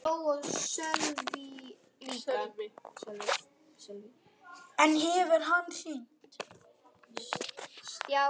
En hefur hann hringt?